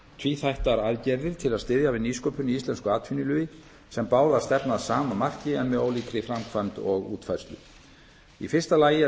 tvíþættar aðgerðir til að styðja við nýsköpun í íslensku atvinnulífi sem báðar stefna að sama marki en með ólíkri framkvæmd og útfærslu því fyrsta lagi er